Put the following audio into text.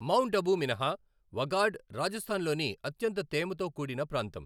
Mount Abu మినహా, వగాడ్ రాజస్థాన్ లోని అత్యంత తేమతో కూడిన ప్రాంతం.